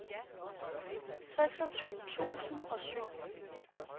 seksogtyve tusind og syv